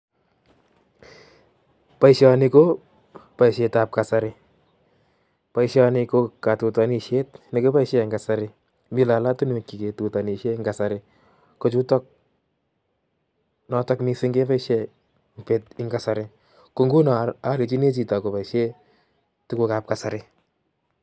Boisoni ko boisetab kasari, boisoni ko katutanishiet nekiboisie en kasari. Mi lolotunwek che ketutanishie en kasari, ko chutok, notok missing' keboisei um en kasari. Ko nguno alenjini chito koboisie tugukab kasari